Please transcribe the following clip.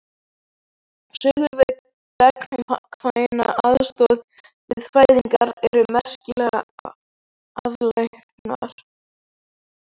Sögur um gagnkvæma aðstoð við fæðingar eru merkilega algengar.